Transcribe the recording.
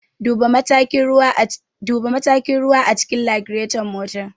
Duba matakin ruwa a cikin lagiraton motar.